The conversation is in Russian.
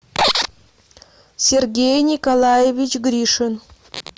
сергей николаевич гришин